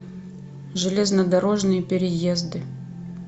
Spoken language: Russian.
железнодорожные переезды